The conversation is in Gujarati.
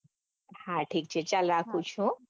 હા ઠીક છે ચાલ રાખું છું હા રાખો.